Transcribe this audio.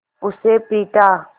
उसे पीटा